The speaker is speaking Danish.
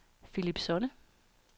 Philip Sonne